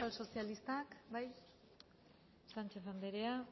euskal sozialistak bai sánchez andrea